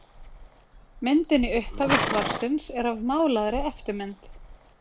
myndin í upphafi svarsins er af málaðri eftirmynd